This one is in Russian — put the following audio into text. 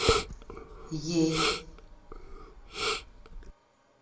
ей